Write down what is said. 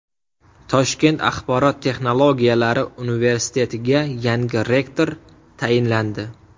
Toshkent axborot texnologiyalari universitetiga yangi rektor tayinlandi.